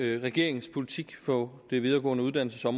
regeringens politik på området de videregående uddannelser